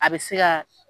A bɛ se ka